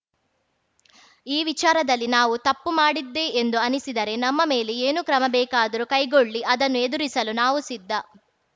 ಈ ವಿಚಾರದಲ್ಲಿ ನಾವು ತಪ್ಪು ಮಾಡಿದ್ದೇ ಎಂದು ಅನ್ನಿಸಿದರೆ ನಮ್ಮ ಮೇಲೆ ಏನು ಕ್ರಮ ಬೇಕಾದರೂ ಕೈಗೊಳ್ಳಲಿ ಅದನ್ನು ಎದುರಿಸಲು ನಾವು ಸಿದ್ಧ